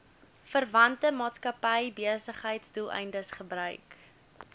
verwante maatskappybesigheidsdoeleindes gebruik